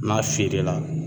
N'a feere la